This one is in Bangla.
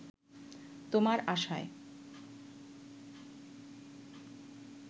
তোমার আশায়